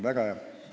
Väga hea.